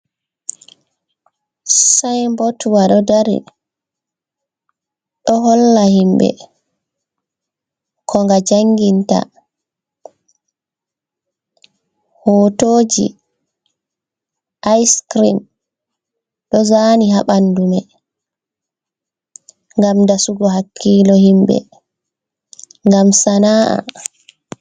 Sainbot wa ɗo holla himɓe ko nga janginta hotoji Aiscrim ɗo zani ha ɓandu mai ngam dasugo hakkilo himɓe ngam sana’a.